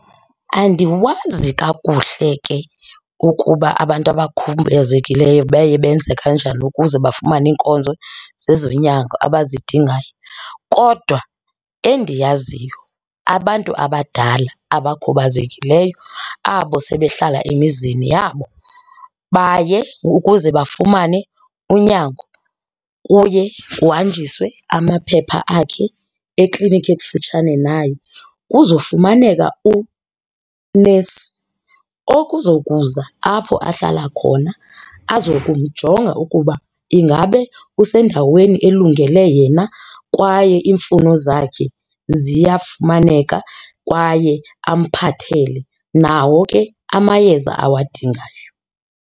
Andiwazi kakuhle ke ukuba abantu abakhubazekileyo baye benze kanjani ukuze bafumane iinkonzo zezonyango abazidingayo. Kodwa endiyaziyo abantu abadala abakhubazekileyo abo sebehlala emizini yabo baye ukuze bafumane unyango kuye kuhanjiswe amaphepha akhe ekliniki ekufutshane naye kuzofumaneka unesi okuzokuza apho ahlala khona azokumjonga ukuba ingabe usendaweni elungele yena kwaye iimfuno zakhe ziyafumaneka kwaye amphathele nawo ke amayeza awadingayo.